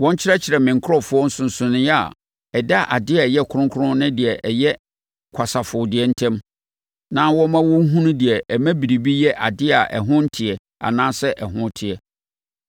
Wɔnkyerɛkyerɛ me nkurɔfoɔ nsonsonoeɛ a ɛda adeɛ a ɛyɛ kronkron ne adeɛ a ɛyɛ kwasafo deɛ ntam, na wɔmma wɔn nhunu deɛ ɛma biribi yɛ adeɛ a ɛho nteɛ anaasɛ ɛho teɛ.